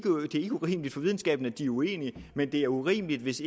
urimeligt at de er uenige men det er urimeligt hvis